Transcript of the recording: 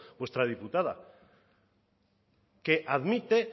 vuestra diputada que admite